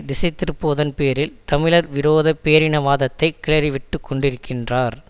திசை திருப்புவதன் பேரில் தமிழர் விரோத பேரினவாதத்தை கிளறி விட்டுக்கொண்டிருக்கின்றார்